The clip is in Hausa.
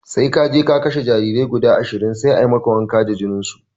Sai kaje ka kashe jarirai guda ashirin sai a maka wanka da jininsu